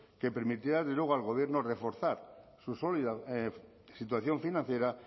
que permitirá al gobierno a reforzar su sólida situación financiera